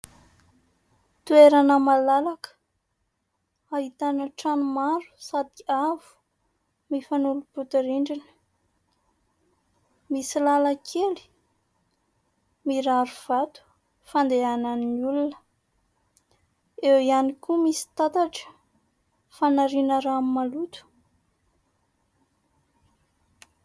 Toerana malalaka ahitana trano maro sady avo mifanolobody rindrina, misy lalankely mirary vato fandehanan'ny olona, eo ihany koa misy tatatra fanariana rano maloto.